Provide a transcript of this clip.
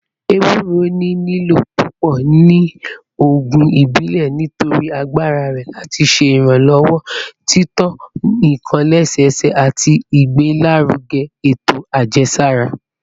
Ewuro ni lilo pupọ ni oogun ibile nitori agbara rẹ lati ṣe iranlọwọ tito nkan lẹsẹsẹ ati igbelaruge eto ajẹsara